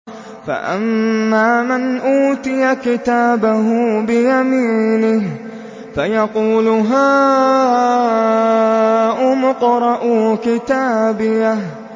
فَأَمَّا مَنْ أُوتِيَ كِتَابَهُ بِيَمِينِهِ فَيَقُولُ هَاؤُمُ اقْرَءُوا كِتَابِيَهْ